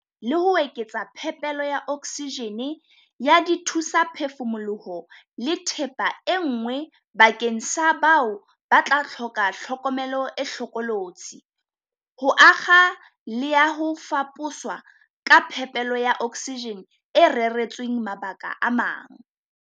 Re sebetsana le ho eketsa phepelo ya oksijene, ya dithu-saphefumoloho le thepa e nngwe bakeng sa bao ba tla hloka tlhokomelo e hlokolotsi, ho akga le ya ho faposwa ha phepelo ya oksijene e reretsweng mabaka a mang.